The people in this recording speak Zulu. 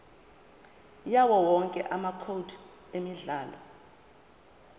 yawowonke amacode emidlalo